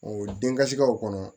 den kasikaw kɔnɔ